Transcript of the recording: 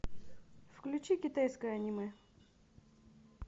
включи китайское аниме